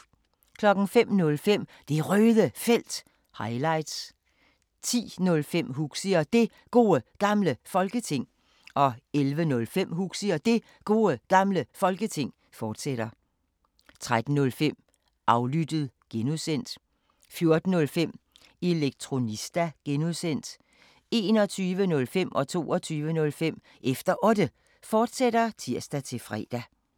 05:05: Det Røde Felt – highlights 10:05: Huxi og Det Gode Gamle Folketing 11:05: Huxi og Det Gode Gamle Folketing, fortsat 13:05: Aflyttet (G) 14:05: Elektronista (G) 21:05: Efter Otte, fortsat (tir-fre) 22:05: Efter Otte, fortsat (tir-fre)